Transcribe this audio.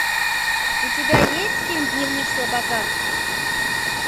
у тебя есть фильм дневник слабака